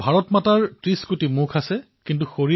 মুপ্পাধু কড়ি মুগামুডায়ল এনিল মাইপুৰম অণ্ড্ৰুডায়ল